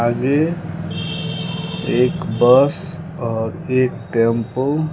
आगे एक बस और एक टैम्पो --